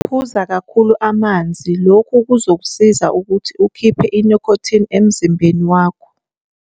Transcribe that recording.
Phuza kakhulu amanzi - lokhu kuzokusiza ukuthi ukhiphe i-nicotine emzimbeni wakho.